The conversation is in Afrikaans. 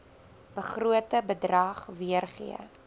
begrote bedrag weergee